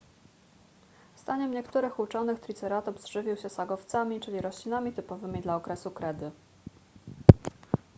zdaniem niektórych uczonych triceratops żywił się sagowcami czyli roślinami typowymi dla okresu kredy